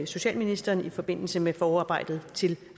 socialministeren i forbindelse med forarbejdet til